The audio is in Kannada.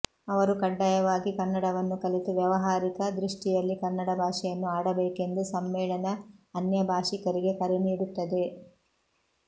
ಅವರು ಕಡ್ಡಾಯವಾಗಿ ಕನ್ನಡವನ್ನು ಕಲಿತು ವ್ಯಾವಹಾರಿಕ ದೃಷ್ಟಿಯಲ್ಲಿ ಕನ್ನಡ ಭಾಷೆಯನ್ನು ಆಡಬೇಕೆಂದು ಸಮ್ಮೇಳನ ಅನ್ಯಭಾಷಿಕರಿಗೆ ಕರೆ ನೀಡುತ್ತದೆ